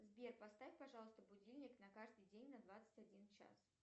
сбер поставь пожалуйста будильник на каждый день на двадцать один час